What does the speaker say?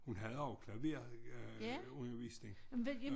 Hun havde også klaverundervisning